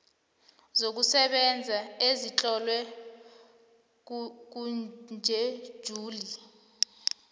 zokusebenza ezitlolwe kutjhejuli